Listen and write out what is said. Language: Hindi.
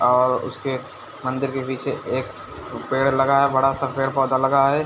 और उसके मंदिर के पीछे एक पेड़ लगा है बड़ा-सा पेड़-पौधा लगा है।